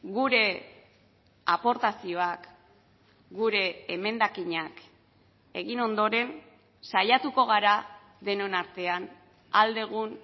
gure aportazioak gure emendakinak egin ondoren saiatuko gara denon artean ahal dugun